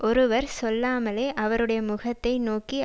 ஓருவர் சொல்லாமலே அவறுடைய முகத்தை நோக்கி